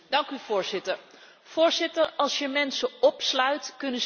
Als je mensen opsluit, kunnen ze niet meer voor zichzelf zorgen.